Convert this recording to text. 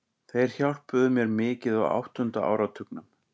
Þeir hjálpuðu mér mikið á áttunda áratugnum.